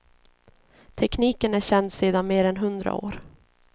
Tekniken är känd sedan mer än hundra år.